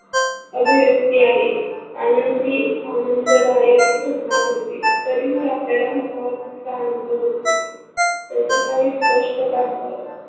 अभिरेक्य आहे. आनंदी आनांददायक घटना घडते तरीहि आपल्याला तणावात इतका आनंद होत नाही. त्याची काही स्पष्ट